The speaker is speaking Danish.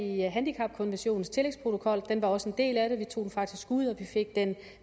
i handicapkonventionens tillægsprotokol den var også en del af det vi tog den faktisk ud og vi fik den